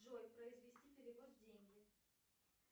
джой произвести перевод деньги